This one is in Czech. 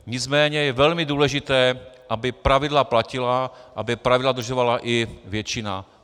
Nicméně je velmi důležité, aby pravidla platila, aby pravidla dodržovala i většina.